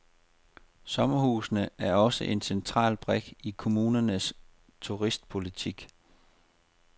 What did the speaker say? Sommerhusene er også en central brik i kommunernes turistpolitik.